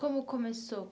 Como começou?